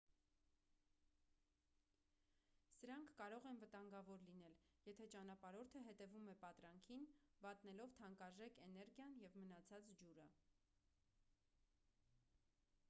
սրանք կարող են վտանգավոր լինել եթե ճանապարհորդը հետևում է պատրանքին վատնելով թանկարժեք էներգիան և մնացած ջուրը